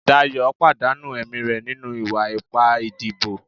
Dayo pàdánù ẹ̀mí re ninu iwa-ipa ìdíbò